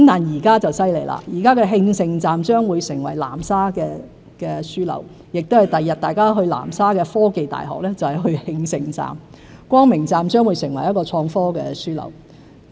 現在就很厲害了，慶盛站將會成為南沙的樞紐，將來大家前往南沙的科技大學，就是去慶盛站；光明城站亦將會成為一個創科樞紐。